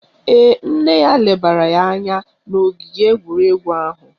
Ee, nne ya lebara ya anya n' ogige egwuregwu ahụ